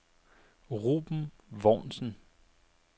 Ruben Vognsen